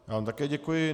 Já vám také děkuji.